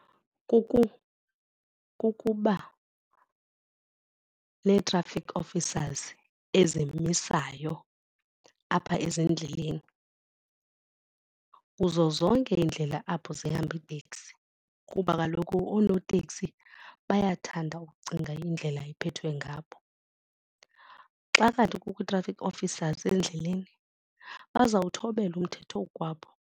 kukuba ne-traffic officers ezimesayo apha ezindleleni kuzo zonke iindlela apho zihamba iiteksi kuba kaloku oonotekisi bayathanda ukucinga indlela iphethwe ngabo. Xa kanti kukho ii-traffic officers endleleni bazawuthobela umthetho oku kwabo.